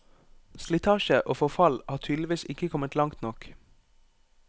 Slitasje og forfall har tydeligvis ikke kommet langt nok.